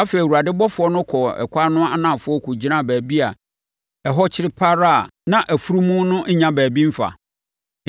Afei, Awurade ɔbɔfoɔ no kɔɔ ɛkwan no anafoɔ kɔgyinaa baabi a ɛhɔ kyere pa ara a na afunumu no nnya baabi mfa.